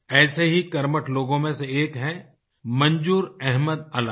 ऐसे ही कर्मठ लोगों में से एक है मंजूर अहमद अलाई